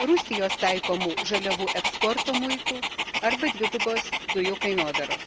Rusijos taikomų žaliavų eksporto muitų arba dvigubos dujų kainodaros.